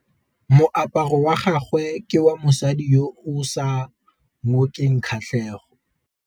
Moaparô wa gagwe ke wa mosadi yo o sa ngôkeng kgatlhegô.